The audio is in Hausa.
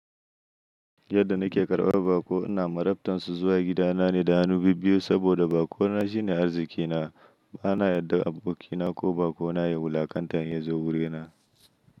Yadda na ke karɓar baƙo ina marabtan su zuwa gidana ne da hannu bibbiyu saboda baƙo na shine arzikina. Bana yarda abokina ko baƙo na ya wulakanta idan yazo wuri na.